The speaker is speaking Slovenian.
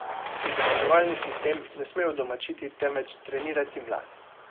Izobraževalni sistem ne sme udomačiti, temveč trenirati mlade.